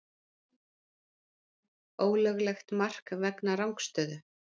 Ólöglegt mark vegna rangstöðu?